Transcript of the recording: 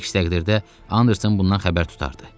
Əks təqdirdə Anderson bundan xəbər tutardı.